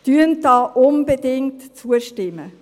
Stimmen Sie da unbedingt zu.